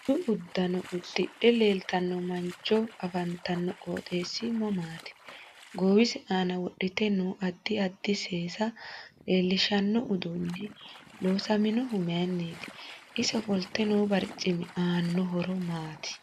Budu uddanno uddidhe leeltanno mancho afantano qooxeesi mamaati goowise aana wodhite noo addi addi seesa leelishano uduuni loosaminohu mayiiniiti ise ofolte noo barcimi aano horo maati